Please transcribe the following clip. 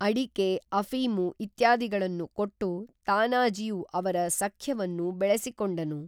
ಅಡಿಕೆಅಫೀಮು ಇತ್ಯಾದಿಗಳನ್ನು ಕೊಟ್ಟು ತಾನಾಜಿಯು ಅವರ ಸಖ್ಯವನ್ನು ಬೆಳೆಸಿಕೊಂಡನು